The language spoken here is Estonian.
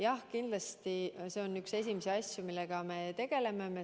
Jah, kindlasti see on üks esimesi asju, millega me tegeleme.